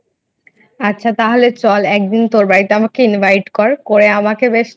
আচ্ছা তাহলে চল একদিন তোর বাড়িতে আমাকে Invite কর করে আমাকে বেশ